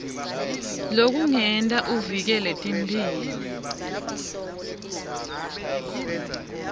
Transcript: lekungenta uvikele timphilo